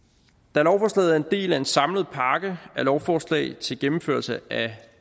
da lovforslaget er en del af en samlet pakke af lovforslag til gennemførelse af